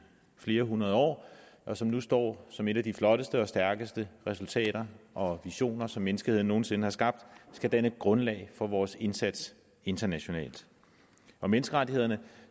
flere hundrede år og som nu står som et af de flotteste og stærkeste resultater og visioner som menneskeheden nogen sinde har skabt skal danne grundlag for vores indsats internationalt menneskerettighederne